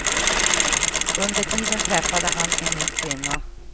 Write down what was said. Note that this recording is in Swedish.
Under tiden träffade han en ny kvinna.